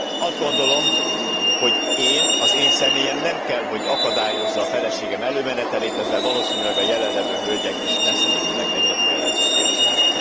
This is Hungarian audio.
Azt gondolom, hogy én, az én személyem nem kell, hogy akadályozza a feleségem előmenetelét, ezzel valószínűleg a jelenlevő hölgyek is messzemenőleg egyet kellene, hogy értsenek.